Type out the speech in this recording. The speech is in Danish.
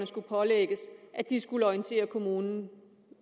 skulle pålægges at de skulle orientere kommunen